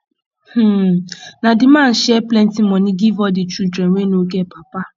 um na di man share plenty moni give all di children wey no get papa